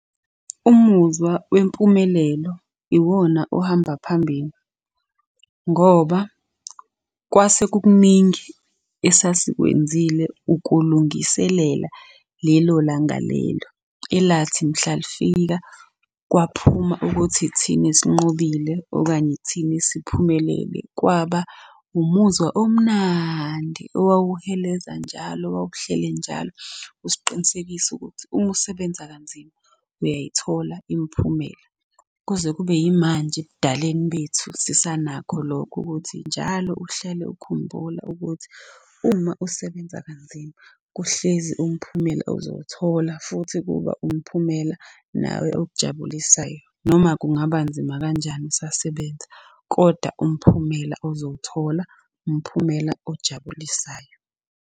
Umuzwa wempumelelo iwona ohamba phambili ngoba kwase kukuningi esasikwenzile ukulungiselela lelo langa lelo, elathi mhla lifika kwaphuma ukuthi ithina esinqobile okanye ithina esiphumelele. Kwaba umuzwa omnandi owawuheleza njalo owawuhleli njalo usiqinisekisa ukuthi uma usebenza kanzima uyayithola imiphumela. Kuze kube yimanje, ebudaleni bethu sisanakho lokho ukuthi njalo uhlale ukhumbula ukuthi uma usebenza kanzima kuhlezi umphumela uzowuthola futhi kuba umphumela nawe okujabulisayo. Noma kungaba nzima kanjani usasebenza, koda umphumela uzowuthola, umphumela ojabulisayo.